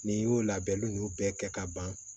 N'i y'o labɛnni ninnu bɛɛ kɛ ka ban